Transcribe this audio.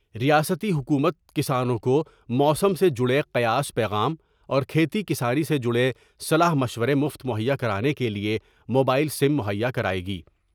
ریاستی حکومت کسانوں کو موسم سے جڑے قیاس پیغام اور کھیتی کسانی سے جڑے صلاح مشورے مفت مہیا کرانے کے لئے موبائل سم مہیا کرائے گی ۔